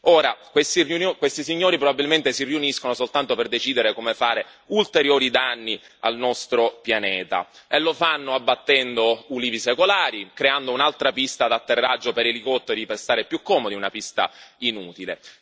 Ora, questi signori probabilmente si riuniscono soltanto per decidere come fare ulteriori danni al nostro pianeta e lo fanno abbattendo ulivi secolari, creando un'altra pista di atterraggio per elicotteri per stare più comodi, una pista inutile.